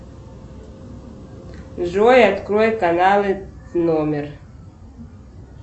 джой открой каналы номер